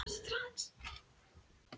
Marín, hver syngur þetta lag?